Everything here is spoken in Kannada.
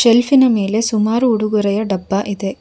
ಶೆಲ್ಫಿ ನ ಮೇಲೆ ಸುಮಾರು ಉಡುಗೊರೆಯ ಡಬ್ಬ ಇದೆ.